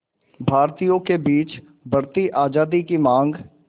भारतीयों के बीच बढ़ती आज़ादी की मांग